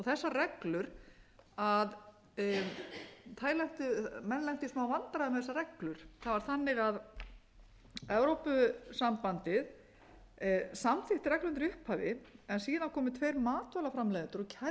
þessar reglur menn lentu í smá vandræðum með þessar reglu það var þannig að evrópusambandið samþykkti reglurnar í upphafi en síðan komu tveir matvælaframleiðendur og kærðu